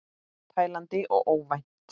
Tælandi og óvænt.